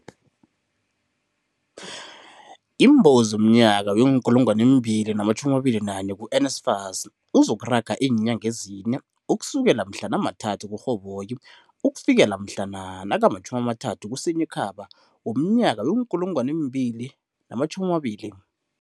iimbawo zomnyaka wee-2021 ku-NSFAS ozokuraga iinyanga ezine, ukusukela mhlana ama-3 kuRhoboyi ukufikela nakama-30 kuSinyikhaba womnyaka wee-2020.